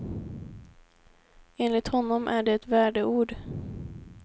Enligt honom är det ett värdeord.